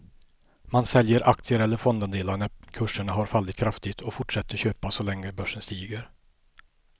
Man säljer aktier eller fondandelar när kurserna har fallit kraftigt och fortsätter köpa så länge börsen stiger.